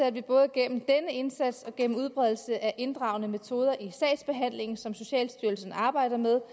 at vi både gennem denne indsats og gennem udbredelse af inddragende metoder i sagsbehandlingen som socialstyrelsen arbejder med